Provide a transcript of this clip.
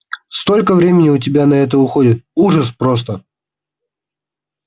столько времени у тебя на это уходит ужас просто